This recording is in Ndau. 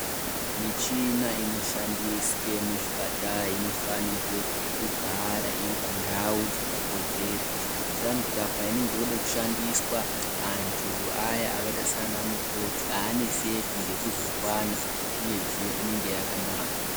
Michina inoshandiswe muzvipatara inofanirwe kugara iri pandau dzakakodzera. Kuitirani kuti painenge yode kushandiswa antu aya akaita sana mukoti haaneseki ngekuzoivana uyezve inenge yakanaka.